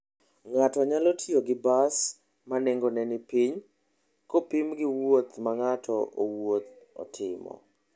Ng'ato nyalo tiyo gi bas ma nengone ni piny, kopim gi wuoth ma ng'ato owuon timo.